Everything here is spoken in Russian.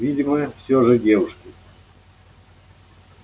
видимо всё же девушки